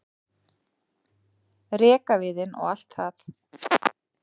rekaviðinn og allt það.